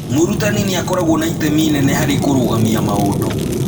Mũrutani nĩ akoragwo na itemi inene harĩ kũrũgamia maũndũ.